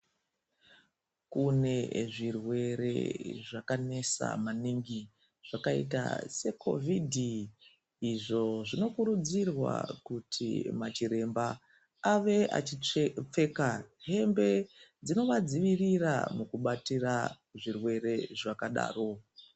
Kune zvirwere zvakanesa maningi zvakaita seCOVID izvo zvinokurudzirwa kuti machiremba ave achipfeka hembe zvinovadzivirira pakubatira zvirwere zvakadaro.